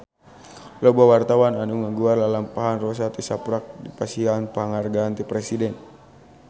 Loba wartawan anu ngaguar lalampahan Rossa tisaprak dipasihan panghargaan ti Presiden